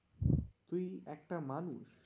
তুই একটা মানুষ?